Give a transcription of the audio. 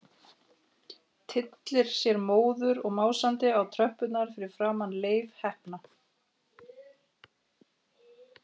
Tyllir sér móður og másandi á tröppurnar fyrir framan Leif heppna.